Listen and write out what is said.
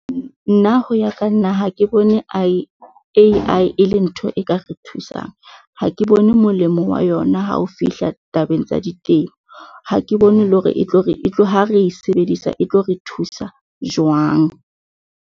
Nna ho ya ka nna ha ke bone A_I e le ntho e ka re thusang. Ha ke bone molemo wa yona ha o fihla tabeng tsa di temo, ha ke bone le hore e tlo re tlo ha re sebedisa e tlo re thusa jwang.